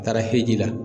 Taara heji la